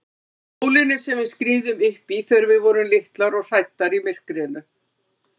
Bólinu sem við skriðum uppí þegar við vorum litlar og hræddar í myrkrinu.